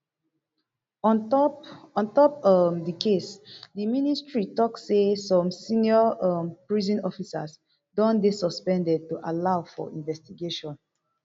on top on top um di case di ministry tok say some senior um prison officers don dey suspended to allow for investigation